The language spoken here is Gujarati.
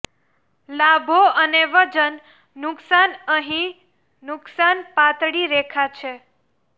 લાભો અને વજન નુકશાન અહીં નુકસાન પાતળી રેખા છે